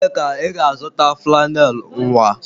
Ebee ka ị ga-azụta flannel nwa?